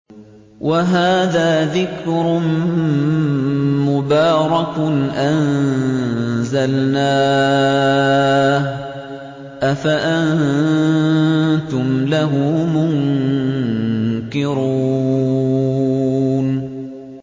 وَهَٰذَا ذِكْرٌ مُّبَارَكٌ أَنزَلْنَاهُ ۚ أَفَأَنتُمْ لَهُ مُنكِرُونَ